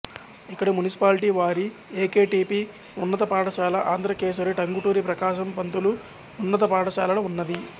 ఇక్కడ మునిసిపాలిటీ వారి A K T P ఉన్నత పాఠశాల అంధ్రకెసరి టంగుటూరి ప్రకాశం పంతులు ఉన్నత పాఠశాలఉన్నది